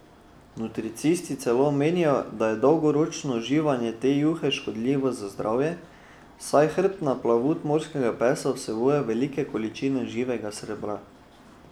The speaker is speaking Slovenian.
Nutricisti celo menijo, da je dolgoročno uživanje te juhe škodljivo za zdravje, saj hrbtna plavut morskega psa vsebuje velike količine živega srebra.